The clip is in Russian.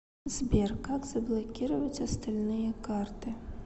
сбер как заблокировать остальные карты